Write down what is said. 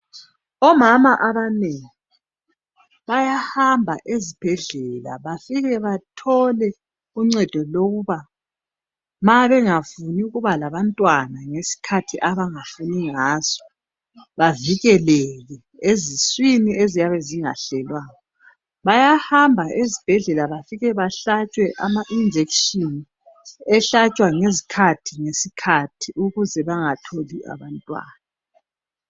Omama abanengi bayahamba ezibhedlela bafike bathole uncedo lokuba mabengafuni ukuba labantwana ngesikhathi abangafuni ngaso bavikeleke eziswini eziyabe zingahlelwanga. Bayahamba ezibhedlela bafike bahlatshwe ama-injection ehlatshwa engezikhathi ngesikhathi ukuze bangatholi abantwana.